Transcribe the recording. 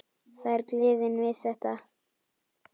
Það er gleðin við þetta.